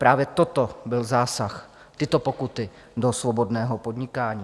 Právě toto byl zásah, tyto pokuty, do svobodného podnikání.